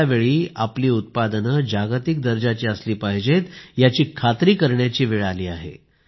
अशावेळी आपली उत्पादने जागतिक दर्जाची असली पाहिजेत याची खात्री करण्याची वेळ आली आहे